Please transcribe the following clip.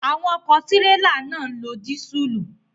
Àwọn ọ̀kọ̀ tírélà náà ń lo dísùlù.